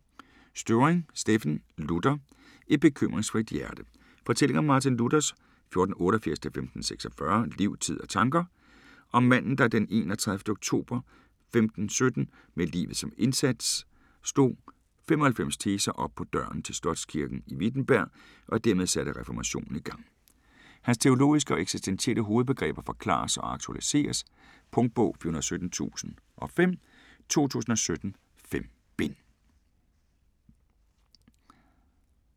Støvring, Steffen: Luther: et bekymringsfrit hjerte Fortælling om Martin Luthers (1488-1546) liv, tid og tanker. Om manden, der den 31. oktober 1517, med livet som indsat, slog 95 teser op på døren til slotskirken i Wittenberg og dermed satte reformationen i gang. Hans teologiske og eksistentielle hovedbegreber forklares og aktualiseres. Punktbog 417005 2017. 5 bind.